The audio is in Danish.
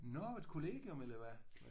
Nåh et kollegium eller hvad?